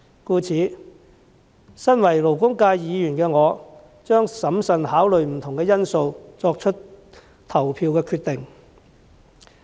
故此，身為勞工界議員，我將審慎考慮不同因素，作出投票決定。